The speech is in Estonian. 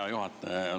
Hea juhataja!